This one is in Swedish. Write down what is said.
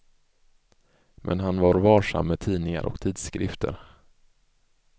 Men han var varsam med tidningar och tidskrifter.